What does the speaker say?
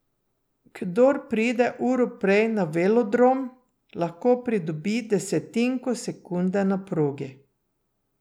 Kdor pride uro prej na velodrom, lahko pridobi desetinko sekunde na progi.